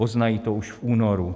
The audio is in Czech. Poznají to už v únoru.